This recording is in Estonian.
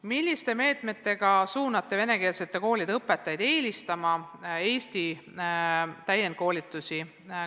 Milliste meetmetega suunate venekeelsete koolide õpetajaid eelistama Eesti täienduskoolitusi?